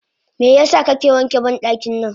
Meyasa kake wanke bandaki nan?